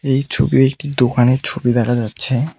এই ছবিতে একটি দোকানের ছবি দেখা যাচ্ছে।